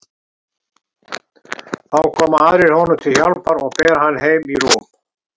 Þá koma aðrir honum til hjálpar og bera hann heim í rúm.